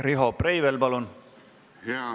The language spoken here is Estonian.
Riho Breivel, palun!